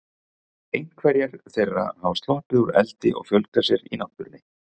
Einhverjar þeirra hafa sloppið úr eldi og fjölgað sér í náttúrunni.